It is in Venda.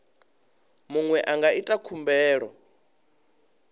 muṅwe a nga ita khumbelo